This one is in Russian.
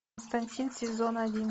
константин сезон один